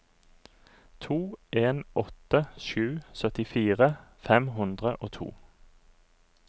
to en åtte sju syttifire fem hundre og to